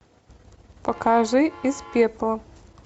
покажи из пепла